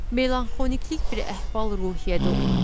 Melanxolniklik bir əhval-ruhiyyədə oluram.